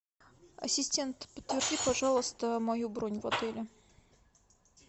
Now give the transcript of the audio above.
ассистент подтверди пожалуйста мою бронь в отеле